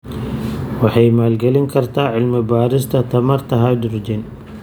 Waxay maalgelin kartaa cilmi-baarista tamarta hydrogen.